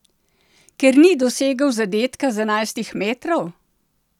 Ker ni dosegel zadetka z enajstih metrov?